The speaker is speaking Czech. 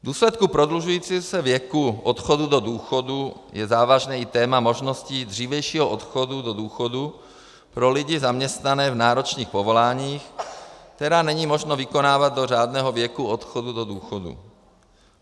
V důsledku prodlužujícího se věku odchodu do důchodu je závažné i téma možností dřívějšího odchodu do důchodu pro lidi zaměstnané v náročných povoláních, která není možné vykonávat do řádného věku odchodu do důchodu.